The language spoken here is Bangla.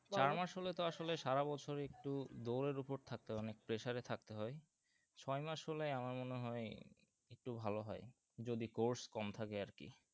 চার মাস হলে তো আসলে সারা বছর একটু দৌড় এর উপর থাকতে হয়ে অনেক pressure এ থাকতে হয়ে ছয় মাস হলে আমার মনে হয়ে একটু ভালো হয় যদি course কম থাকে আর কি